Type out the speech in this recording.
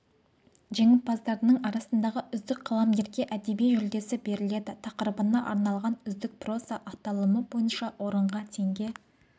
жеңімпаздарының арасындағы үздік қаламгерге әдеби жүлдесі беріледі тақырыбына арналған үздік проза аталымы бойынша орынға теңге